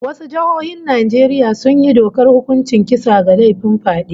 Wasu jihohin Najeriya sun yi dokar hukuncin kisa ga laifin fyade